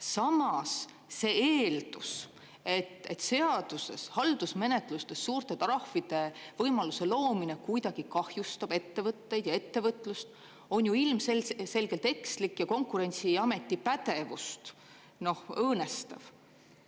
Samas, see eeldus, et seaduses haldusmenetlustes suurte trahvide võimaluse loomine kuidagi kahjustub ettevõtteid ja ettevõtlust, on ju ilmselgelt ekslik ja Konkurentsiameti pädevust õõnestav.